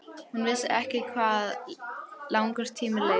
Hún vissi ekki hvað langur tími leið.